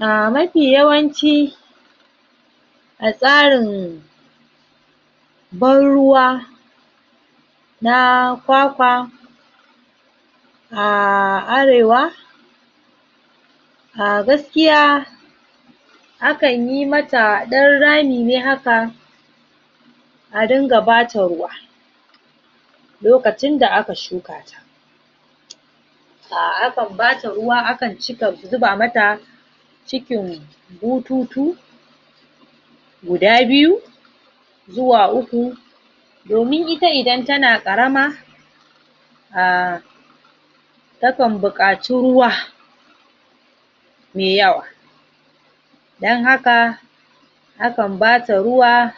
A mafi yawanci a tsarin barruwa na Kwakwa a Arewa a gaskiya akan yi mata ɗan rami ne haka a dinga bata ruwa lokacin da aka shukata? akan bata ruwa akan cika zuba mata cikin bututu guda biyu zuwa uku domin ita idan tana ƙarama a takan buƙaci ruwa me yawa don haka akan bata ruwa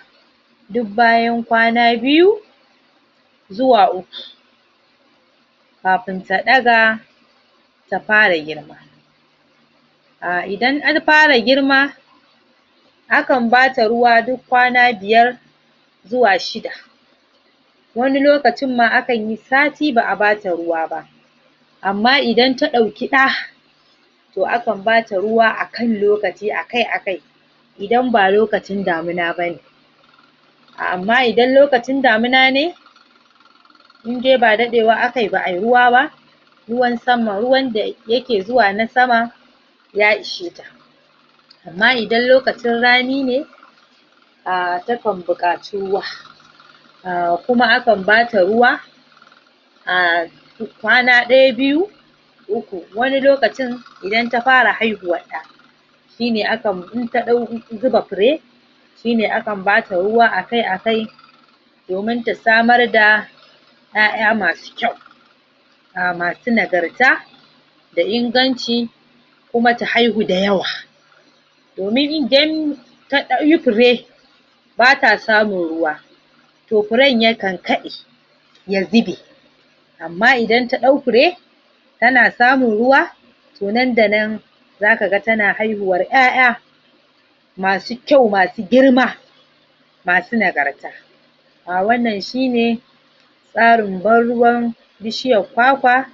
duk bayan kwana biyu zuwa uku kafin ta ɗaga ta fara girma a idan ta fara girma akan bata ruwa duk kwana biyar zuwa shida wani lokacin ma akan yi sati ba a bata ruwa ba amma idan ta ɗauki ɗa to akan bata ruwa akan lokaci akai-akai idan ba lokacin damina ba ne amma idan lokacin damina ne in dai ba ɗaɗewa akai ba ai ruwa ba ruwan sama ruwan da yake zuwa na sama ya isheta amma idan lokaci rani ne a takan buƙaci ruwa kuma akan bata ruwa a kwana ɗaya biyu uku wani lokacin idan ta fara haihuwar ɗa shi ne akan in ta ɗau zuba fure shi ne akan bata ruwa akai-akai domin ta samar da 'ya'ya masu kyau masu nagarta da inganci kuma ta haihu da yawa domin idan ta yi fure bata samun ruwa to furen yakan kaɗe ya zube amma idan ta ɗau fure tana samun ruwa to nan da nan zaka ga tana haihuwar 'ya'ya masu kyau masu girma masu nagarta wannan shi ne tsarin barruwan bishiyar Kwakwa?